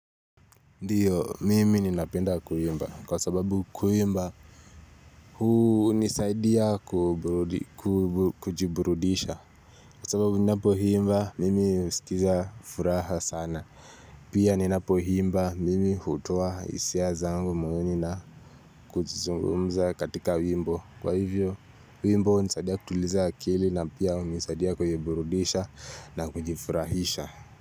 Ndiyo mimi ninapenda kuimba kwa sababu kuimba huu hunisaidia kujiburudisha Kwa sababu ninapohimba mimi husikiza furaha sana Pia ninapoimba mimi hutoa hisia zangu muhimu na kujizungumza katika wimbo Kwa hivyo wimbo hunisaidia kutuliza akili na pia hunisaidia kujiburudisha na kujifurahisha.